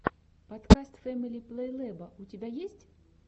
подкаст фэмили плейлэба у тебя есть